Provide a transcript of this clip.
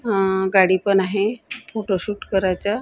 आह गाडी पण आहे फोटोशूट करायचं .